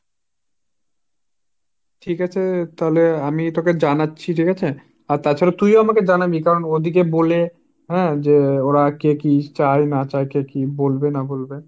ঠিক আছে তালে, আমি তোকে জানাচ্ছি ঠিক আছে আর তাছাড়া তুইও আমাকে জানাবি কারণ ওদিকে বলে হাঁ যে ওরা কে কি চায় না চায়, কে কি বলবে না বলবে।